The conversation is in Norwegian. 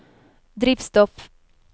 drivstoff